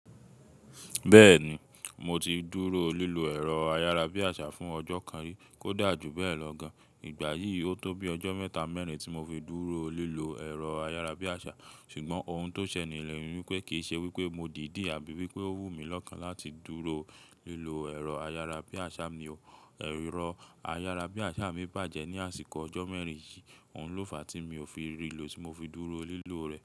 Bẹ́ẹ̀ni, mo ti dúró lílo ẹ̀rọ ayárabíàṣá fún ọjọ́ kan rí, kódà jù bẹ́ẹ̀ lọ gan. Ìgbà yìí ó tó bí ọjọ́ mẹ́ta mẹ́rin tí mo fi dúró lílo ẹ̀rọ ayárabíàṣá, ṣùgbọ́n ohun tó ṣẹ lẹ́ ni wípé kìí ṣe wípé mo dìdí àbí wípé ó wùmí lọ́kàn láti dúró lílo ẹ̀rọ ayárabíàṣá mi o. Ẹ̀rọ ayárabíàṣá mi bàjẹ́ ní àsìkò ọjọ́ mẹ́rin yìí, òun ló fa tí mi ò fi rí lo tí mo fi dúró lílo rẹ̀.